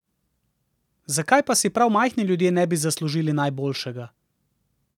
Zakaj pa si prav majhni ljudje ne bi zaslužili najboljšega!